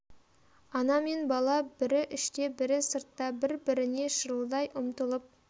ана мен бала бірі іште бірі сыртта бір-біріне шырылдай ұмтылып